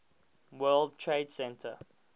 world trade center